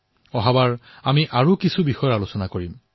আগলৈ আকৌ নতুন বিষয়ৰ ওপৰত কথা পাতিম